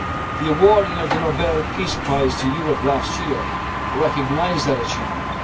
Europe at all'. The awarding of the Nobel Peace Prize to Europe last year recognised that